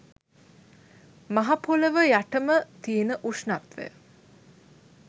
මහ පොළොව යටම තියෙන උෂ්ණත්වය